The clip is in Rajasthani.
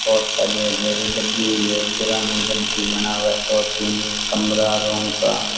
बहुत सारी हरयाली लगी हुई है पुराण घर भी बना है दो तीन कमरा रूम सा --